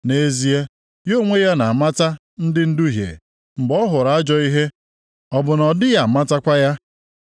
Nʼezie, ya onwe ya na-amata ndị nduhie, mgbe ọ hụrụ ajọ ihe, ọ bụ na ọ dịghị amatakwa ya?